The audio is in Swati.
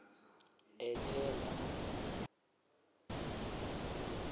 ethemba